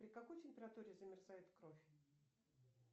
при какой температуре замерзает кровь